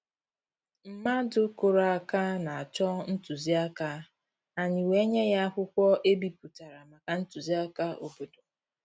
Mmàdụ̀ kụ́rụ̀ áká na-chọ́ ntụzìáká, ànyị́ wèé nyé yá ákwụ́kwọ́ è bípụ̀tàrà màkà ntụzìáká òbòdò.